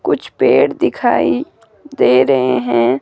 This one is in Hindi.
कुछ पेड़ दिखाई दे रहे हैं।